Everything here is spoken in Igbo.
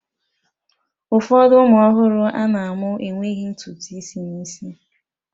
Ụfọdụ ụmụ ọhụrụ ana-amụ enweghị ntutu isi n'isi